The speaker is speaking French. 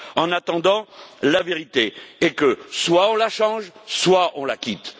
En attendant, la vérité est que soit on la change, soit on la quitte.